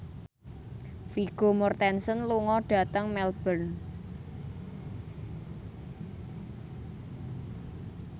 Vigo Mortensen lunga dhateng Melbourne